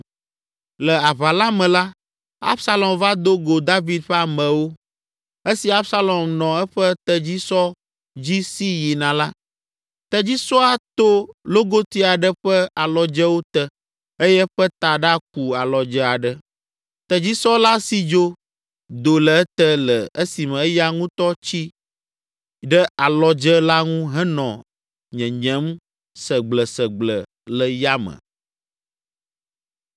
Le aʋa la me la, Absalom va do go David ƒe amewo. Esi Absalom nɔ eƒe tedzisɔ dzi si yina la, tedzisɔa to logoti aɖe ƒe alɔdzewo te eye eƒe taɖa ku alɔdze aɖe. Tedzisɔ la si dzo, do le ete le esime eya ŋutɔ tsi ɖe alɔdze la ŋu henɔ nyenyem segblesegble le yame.